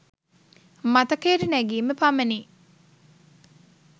මතකයට නැගීම පමණි.